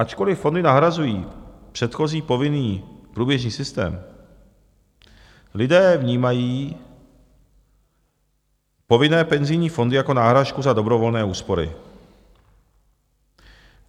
Ačkoli fondy nahrazují předchozí povinný průběžný systém, lidé vnímají povinné penzijní fondy jako náhražku za dobrovolné úspory.